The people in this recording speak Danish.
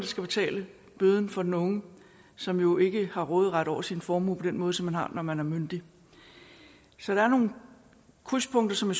skal betale bøden for den unge som jo ikke har råderet over sin formue på den måde som man har når man er myndig så der er nogle krydspunkter som